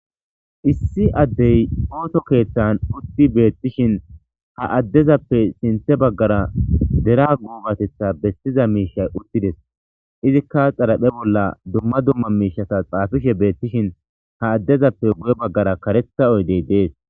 Issi addey ooto keeththan utti beettishin ha addezappe sinthe baggara dera guubatetha bestiza miishay uttides izikka xalaphe bolla dumma dumma miishasa xaafishe beettishin ha addezappe gu''e baggara karetha oydey dees.